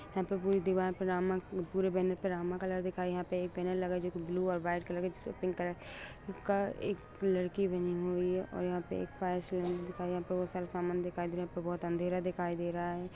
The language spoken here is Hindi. यहाँ पे पुरी दिवाल पे रामा पुरे बेनर पे रामा कलर दिखाई यहा पे एक बैनर लगा है जो की ब्लू कलर ओर वाइट कलर जिसे एक पिंक कलर उनका का एक लडकी बनी हुए हे यहा पे का एक दिवाल बहुत सारा सामान दिखाई दे रहा हे बहुत सारा यहा पे बहुत अँधेरा दिखाई दे रहा हे।